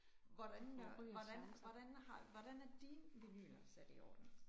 Hvordan hvordan hvordan har hvordan er dine vinyler sat i orden?